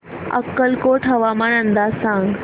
अक्कलकोट हवामान अंदाज सांग